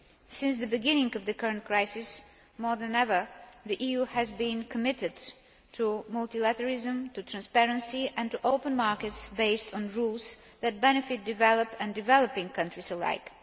Since the beginning of the current crisis, more than ever the EU has been committed to multilateralism, to transparency and to open markets based on rules that benefit developed and developing countries alike.